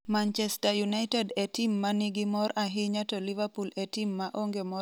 Manchester United e tim ma nigi mor ahinya to Liverpool e tim ma onge mor ahinya e tuke mag EPL